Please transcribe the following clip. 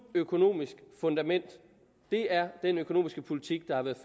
økonomisk fundament det er den økonomiske politik der har været